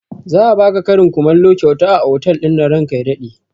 Za a baka karin kumallo kyauta a otal ɗinnan ranka ya daɗe